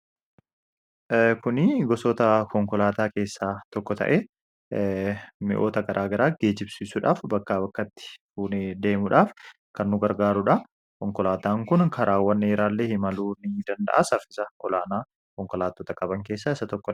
kuni gosoota konkolaataa keessaa tokko ta'e mi'oota garaa garaa geejibsiisuudhaaf bakkaa bakkatti fuunee deemuudhaaf kannuu gargaaruudha konkolaataan kun karaawwanneeraallee hi maluu ni danda'a sarfisa olaanaa konkolaatoota qaban keessa isaa 1